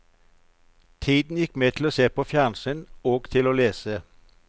Tiden gikk med til å se på fjernsyn og til å lese.